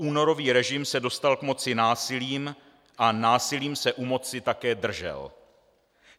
Poúnorový režim se dostal k moci násilím a násilím se u moci také držel.